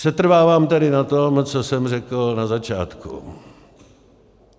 Setrvávám tedy na tom, co jsem řekl na začátku.